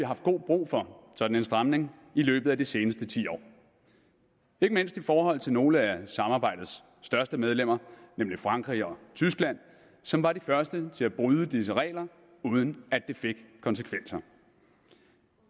haft god brug for en sådan stramning i løbet af de seneste ti år ikke mindst i forhold til nogle af samarbejdets største medlemmer nemlig frankrig og tyskland som var de første til at bryde disse regler uden at det fik konsekvenser